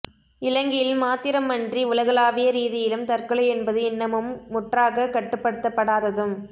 இலங்கையில் மாத்திரமன்றி உலகலாவிய ரீதியிலும் தற்கொலை என்பது இன்னமும் முற்றாகக் கட்டுப்படுத்தப்படாததும்